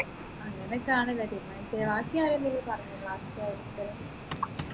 അങ്ങനെ ഒക്കെ ആണല്ലോ തീരുമാനിച്ചേ ബാക്കി ആരെങ്കിലും പറഞ്ഞിരുന്നോ class ത്തെ